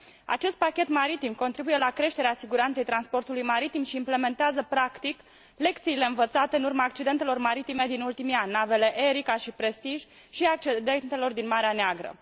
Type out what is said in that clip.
Acest pachet maritim contribuie la creșterea siguranței transportului maritim și implementează practic lecțiile învățate în urma accidentelor maritime din ultimii ani, navele Erika și Prestige, și a accidentelor din Marea Neagră.